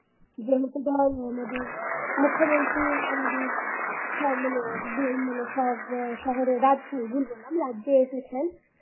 যেহেতু ধর আমাদের মুখ্যমন্ত্রী আমাদের সব মানে সব শহরে রাজ্যে ভুল বললাম রাজ্যে এসেছেন